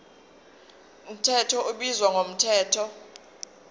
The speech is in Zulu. mthetho ubizwa ngomthetho